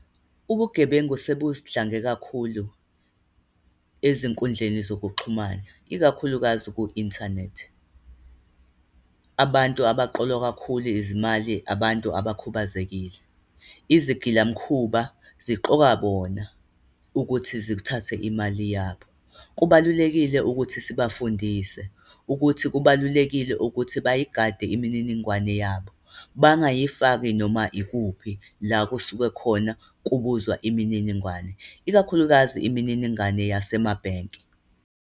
Ubugebengu sebudlange kakhulu ezinkundleni zokuxhumana, ikakhulukazi ku-inthanethi. Abantu abaqolwa kakhulu izimali, abantu abakhubazekile. Izigilamkhuba ziqola bona ukuthi zithathe imali yabo. Kubalulekile ukuthi sibafundise, ukuthi kubalulekile ukuthi bayigade imininingwane yabo, bangayifaki noma ikuphi la kusuke khona kubuzwa imininingwane, ikakhulukazi imininingwane yasemabhenki.